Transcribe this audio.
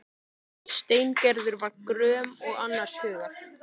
Steingerður var gröm og annars hugar.